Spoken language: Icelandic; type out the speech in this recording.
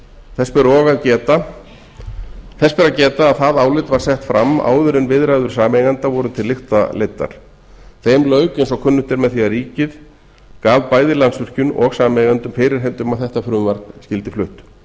þess ber að geta að það álit var sett fram áður en viðræður sameigenda voru til lykta leiddar þeim lauk eins og kunnugt er með því að ríkið gaf bæði landsvirkjun og sameigendum fyrirheit um að þetta frumvarp skyldi flutt